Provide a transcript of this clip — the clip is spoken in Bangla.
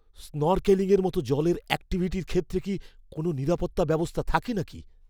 স্নরকেলিংয়ের মতো জলের অ্যাক্টিভিটির ক্ষেত্রে কি কোনও নিরাপত্তা ব্যবস্থা থাকে নাকি!